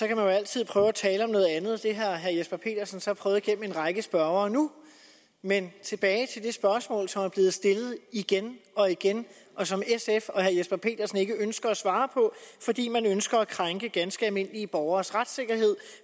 kan man altid prøve at tale om noget andet det har herre jesper petersen så prøvet med en række spørgere nu men tilbage til det spørgsmål som er blevet stillet igen og igen og som sf og herre jesper petersen ikke ønsker at svare på fordi man ønsker at krænke ganske almindelige borgeres retssikkerhed